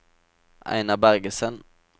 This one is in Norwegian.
Einar Bergersen